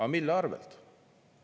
Aga mille arvelt?